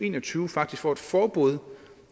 en og tyve faktisk får et forbud